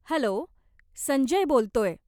Hello, Sanjay बोलतोय.